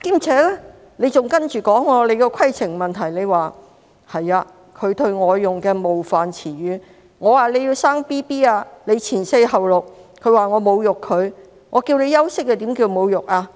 此外，毛議員還提出規程問題，對容海恩議員："你要生 BB， 就會放取'前四後六'假期，你說我侮辱你，我叫你休息又怎會是侮辱呢？